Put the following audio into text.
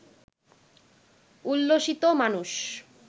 উল্লসিত মানুষ